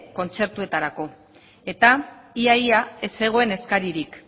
kontzertuetarako eta ia ia ez zegoen eskaririk